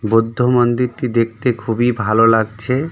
বুদ্ধ মন্দিরটি দেখতে খুবই ভালো লাগছে.